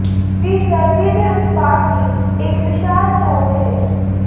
ਵੀ ਸਰਦੀ ਦੇ ਉਤਪਾਦ ਦੀ ਇੱਕ ਵਿਸ਼ਾਲ ਚੋਣ ਹੈ